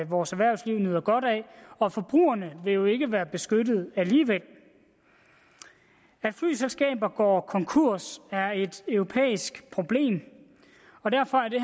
vores erhvervsliv nyder godt af og forbrugerne vil jo ikke være beskyttet alligevel at flyselskaber går konkurs er et europæisk problem og derfor er det